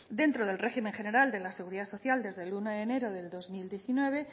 dentro del régimen general de la seguridad social desde el uno de enero de dos mil diecinueve